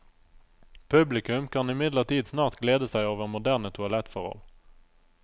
Publikum kan imidlertid snart glede seg over moderne toalettforhold.